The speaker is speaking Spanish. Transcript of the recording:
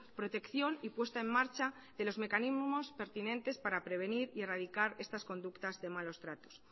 protección y puesta en marcha de los mecanismos pertinentes para prevenir y erradicar estas conductas de malos tratos